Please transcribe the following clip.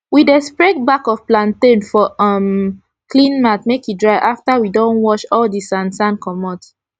we dey spread back of plantain for um clean mat make e dry afta we don wash all d sand sand comot